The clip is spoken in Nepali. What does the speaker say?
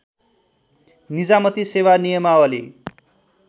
निजामती सेवा नियमावली